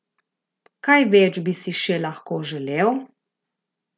Kaj več bi si še lahko želel?